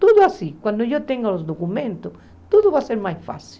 Tudo assim, quando eu tenho os documentos, tudo vai ser mais fácil.